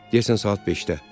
Deyəsən saat 5-də.